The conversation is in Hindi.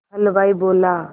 हलवाई बोला